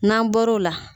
N'an bɔr'o la